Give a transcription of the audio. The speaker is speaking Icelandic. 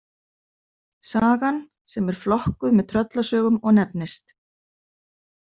Sagan, sem er flokkuð með tröllasögum og nefnist.